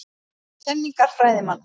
Kenningar fræðimanna.